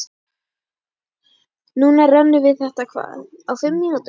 Núna rennum við þetta hvað, á fimm tímum?